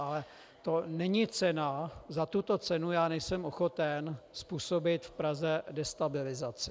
Ale to není cena, za tuto cenu já nejsem ochoten způsobit v Praze destabilizaci.